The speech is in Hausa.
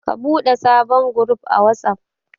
Ka ɓude sabon guruf a Watsaf.